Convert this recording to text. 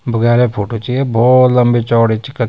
बुग्याला फोटू च या भौत लंबी चौड़ी च कख --